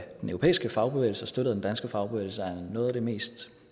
den europæiske fagbevægelse støttet af den danske fagbevægelse er noget af det mest